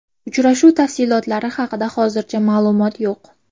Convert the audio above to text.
Uchrashuv tafsilotlari haqida hozircha ma’lumot yo‘q.